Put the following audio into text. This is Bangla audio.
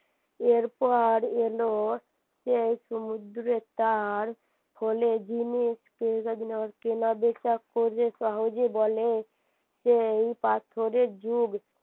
এরপর এলো সেই সমুদ্রে তার ফলে জিনিস কেনাবেচা করে সহজেই বলে সেই পাথরের যুগ